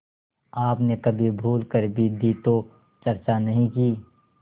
आपने कभी भूल कर भी दी तो चर्चा नहीं की